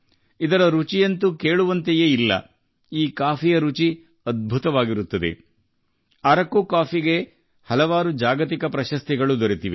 ಇದು ನಿಜಕ್ಕೂ ರುಚಿಯಾಗಿದೆ ಈ ಕಾಫಿ ಅದ್ಭುತವಾಗಿದೆ ಅರಕು ಕಾಫಿಗೆ ಅನೇಕ ಜಾಗತಿಕ ಪ್ರಶಸ್ತಿಗಳು ಬಂದಿವೆ